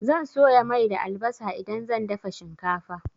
Zan soya mai da albasa idan zan dafa shinkafa.